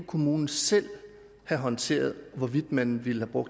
kommunen selv håndterede hvorvidt man ville bruge